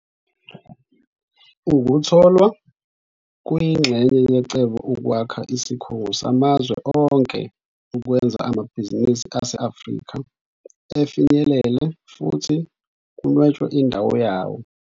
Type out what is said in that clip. Ukutholwa kuyingxenye yecebo lokwakha isikhungo samazwe onke ukwenza amabhizinisi ase-Afrika afinyelele futhi kunwetshwe indawo yawo.